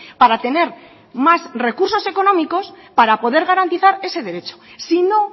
para tener más recursos económicos para poder garantizar ese derecho si no